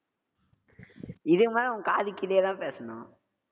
இதுக்கு மேலே, உன் காதுக் கீழேதான் பேசணும்.